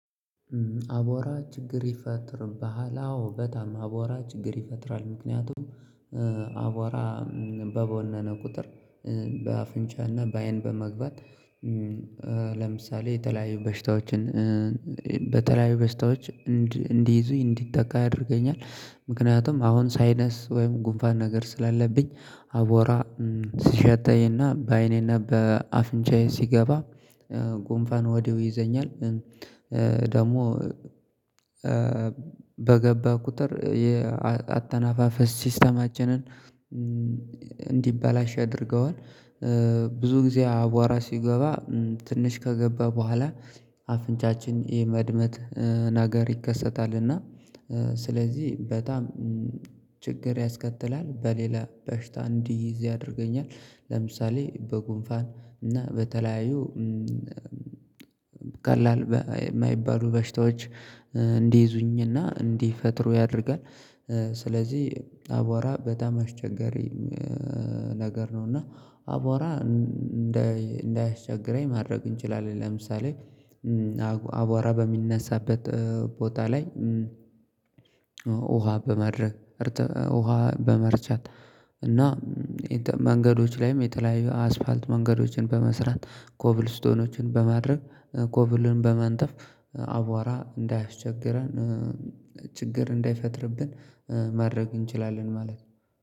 አባራ ችግር ይፈጥርብሀል? አዎ በጣም አባራ ችግር ይፈጥራል ምክንያቱም አቧራ በቦነነ ቁጥር በአፍንጫና በአይን በመግባት። ለምሳሌ የተለያዩ በሽታዎችን በተለያዩ በሽታዎች እንዲይዙይ እንድጠቃ ያደርገኛል። ምክንያቱም አሁን ሳይነስ ወይም ጉንፋን ነገር ስላለብኝ አቧራ ሲሸሀኝና በአይኔና በአፍንጫዬ ሲገባ ጉንፋን ወድያው ይይዘኛል። ደግሞ በገባ ቁጥር የአተናፋፈስ ሲስተማችንን እንዲበላሽ ያደርገዋል። ብዙ ጊዜ አቧራ ሲገባ ትንሽ ከገባ በኋላ አፍንጫችን የመድመት ነገር ይከሰታል እና ስለዚህ በጣም ችግር ያስከትላል። በሌላ በሽታ እንዲይዝ ያደርገኛል። ለምሳሌ በጉንፋን እና በተለያዩ ቀላል የማይባሉ በሽታዎች እንዲይዙኝና እንዲፈጥሩ ያደርጋል። ስለዚህ አቧራ በጣም አስቸገሪ ነገር ነው። እና አቧራ እንዳያስቸግረኝ ማድረግ እንችላለን። ለምሳሌ አቧራ በሚነሳበት ቦታ ላይ። ውሃ በመርጨት እና መንገዶች ላይም የተለያዩ አስፓልት መንገዶችን በመስራት ኮብልስቶኖችን በማድረግ ኮብልን በማንጠፍ አቧራ እንዳያስቸግረን ችግር እንዳይፈጥርብን ማድረግ እንችላለን። ማለት ነው።